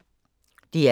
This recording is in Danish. DR K